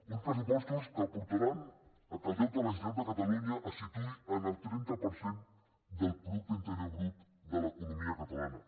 uns pressupostos que portaran al fet que el deute de la generalitat de catalunya se situï en el trenta per cent del producte interior brut de l’economia catalana